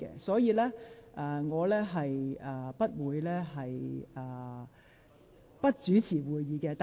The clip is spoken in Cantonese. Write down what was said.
所以，我不會不主持會議。